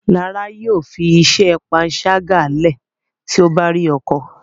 Lára yóò fí iṣé panṣaga lẹ ti o bá rí ọkọ